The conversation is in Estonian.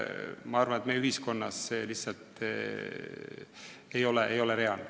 Ma arvan, et meie ühiskonnas ei ole see lihtsalt reaalne.